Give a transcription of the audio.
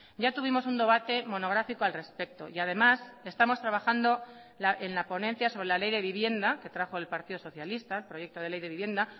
ya tuvimos un debate monográfico al respecto y además estamos trabajando en la ponencia sobre la ley de vivienda que trajo el partido socialista el proyecto de ley de vivienda